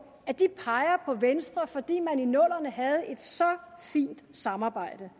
at de peger på venstre fordi man i nullerne havde et så fint samarbejde